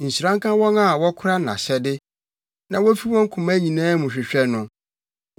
Nhyira nka wɔn a wɔkora nʼahyɛde, na wofi wɔn koma nyinaa mu hwehwɛ no.